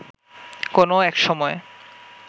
কোনো একসময়